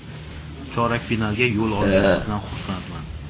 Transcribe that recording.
Chorak finalga yo‘l olganimizdan xursandman.